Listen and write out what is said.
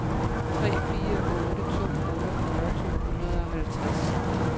tre fire otte to otteogfyrre to hundrede og halvtreds